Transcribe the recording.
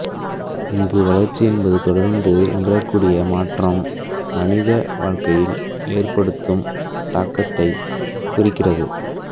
இங்கு வளர்ச்சி என்பது தொடர்ந்து நிகழக்கூடிய மாற்றம் மனித வாழ்க்கையில் ஏற்படுத்தும் தாக்கத்தைக் குறிக்கிறது